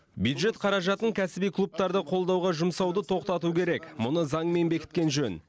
бюджет қаражатын кәсіби клубтарды қолдауға жұмсауды тоқтату керек мұны заңмен бекіткен жөн